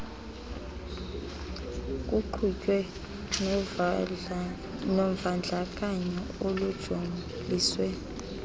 kuqhutywe novandlakanyo olujoliswe